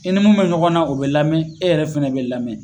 I ni mun bɛ ɲɔgɔn na o bɛ lamɛn e yɛrɛ fana bɛ lamɛn.